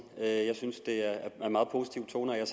jeg synes det er en meget positiv tone og jeg